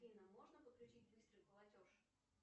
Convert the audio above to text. афина можно подключить быстрый платеж